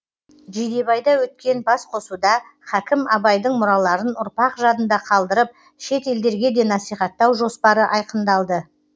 жидебайда өткен басқосуда хакім абайдың мұраларын ұрпақ жадында қалдырып шет елдерге де насихаттау жоспары айқындалды